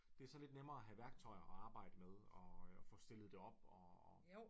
Det så lidt nemmere at have værktøjer at arbejde med og få stillet det op og